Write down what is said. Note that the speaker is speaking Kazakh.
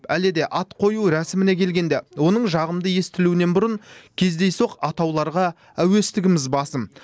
әлі де ат қою рәсіміне келгенде оның жағымды естілуінен бұрын кездейсоқ атауларға әуестігіміз басым